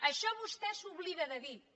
això vostè s’oblida de dir ho